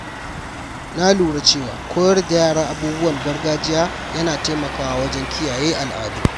Na lura cewa koyar da yara abubuwan gargajiya yana taimakawa wajen kiyaye al’adu.